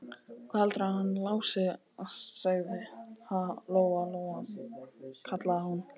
Hvað heldurðu að hann Lási segði, ha, Lóa-Lóa, kallaði hún.